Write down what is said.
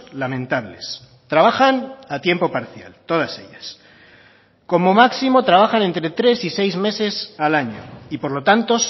lamentables trabajan a tiempo parcial todas ellas como máximo trabajan entre tres y seis meses al año y por lo tanto